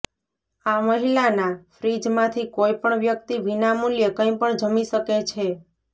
આ મહિલાના ફ્રીજમાંથી કોઈપણ વ્યક્તિ વિના મૂલ્યે કંઈપણ જમી શકે છે